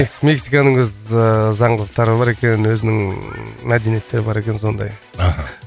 мексиканың өз ыыы заңдылықтары бар екен өзінің ыыы мәдениеттері бар екен сондай мхм